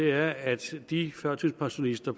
er at de førtidspensionister